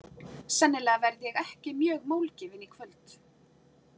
Sennilega verð ég ekki mjög málgefin í kvöld.